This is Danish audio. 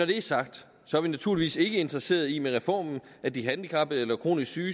det er sagt er vi naturligvis ikke interesseret i med reformen at de handicappede eller kronisk syge